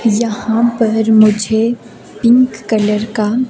यहां पर मुझे पिंक कलर का--